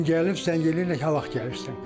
Bu gün gəlib zəng eləyirlər ki, haqq gəlirsən.